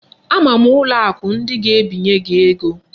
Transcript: Ama m ụlọ akụ ndị ga-ebinye gị ego